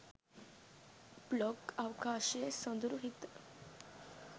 blog අවකාශයේ සොඳුරු හිත